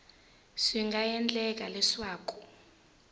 swi nga ha endleka leswaku